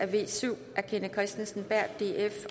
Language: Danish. v syv af kenneth kristensen berth